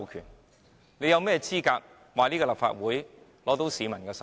但政府有甚麼資格說立法會得到市民授權？